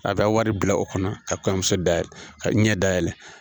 A bɛ wari bila o kɔnɔ ka kɔɲɔmuso da yɛlɛ ka ɲɛ dayɛlɛ.